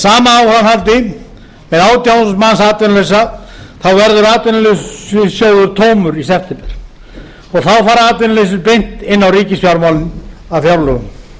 sama áframhaldi með átján þúsund manns atvinnulausa verður atvinnuleysistryggingasjóður tómur í september og þá fara atvinnuleysisbætur beint inn í ríkisfjármálin af fjárlögum